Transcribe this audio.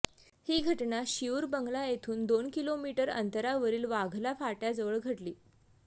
ही घटना शिऊर बंगला येथून दोन किलोमीटर अंतरावरील वाघला फाट्याजवळ घडली